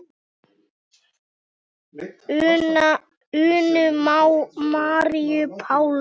Unu Maríu Páls.